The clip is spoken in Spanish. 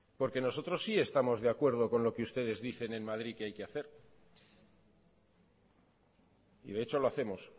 porque nosotros sí estamos de acuerdo con lo que ustedes dicen en madrid que hay que hacer y de hecho lo hacemos